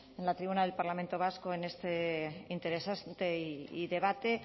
en la tribuna del parlamento vasco en este interesante debate